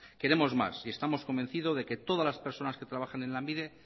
queremos más y estamos convencidos de que todas las personas que trabajen en lanbide